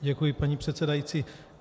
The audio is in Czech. Děkuji, paní předsedající.